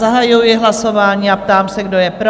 Zahajuji hlasování a ptám se, kdo je pro?